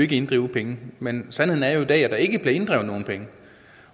kan inddrive penge men sandheden er jo at der ikke bliver inddrevet nogen penge